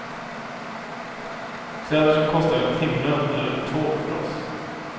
Kläder som kostar en timlön eller två för oss.